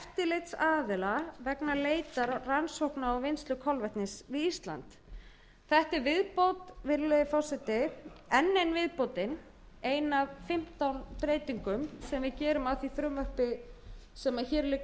eftirlitsaðila vegna leitar rannsókna og vinnslu kolvetnis við ísland þetta er viðbót virðulegi forseti enn ein viðbótin ein af fimmtán breytingum sem við gerum á því frumvarpi sem hér liggur